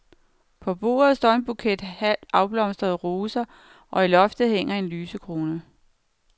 På bordet står en buket halvt afblomstrede roser og i loftet hænger en lysekrone.